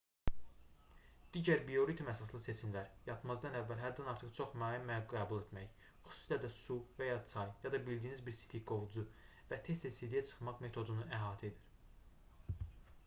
digər bioritm əsaslı seçimlər yatmazdan əvvəl həddən artıq çox maye qəbul etmək xüsusilə də su və ya çay ya da bildiyiniz bir sidikqovucu və tez-tez sidiyə çıxmaq metodunu əhatə edir